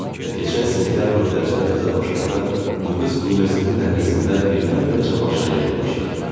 Və keçən sentyabr dərslər təzə başlayanda bu qız universitetin dəhlizində birdən-birə Cavanşirə yaxınlaşdı.